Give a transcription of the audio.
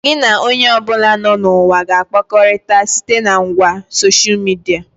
Gị na onye ọbụla nọ na ụwa ga-akpakọrịta site na ngwa soshia midia